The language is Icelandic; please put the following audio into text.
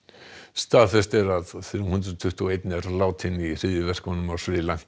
staðfest er að þrjú hundruð tuttugu og eitt er látinn í hryðjuverkunum á Sri Lanka